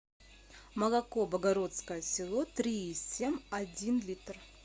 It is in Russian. молоко богородское село три и семь один литр